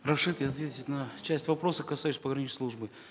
разрешите ответить на часть вопросов касающихся пограничной службы